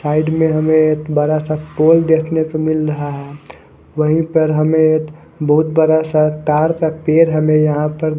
side में हमे बड़ासा टोल देखनेको मिल रहा है वही पर हमे बोहोत बडासा तार का पेड़ हमे यहाँ पर--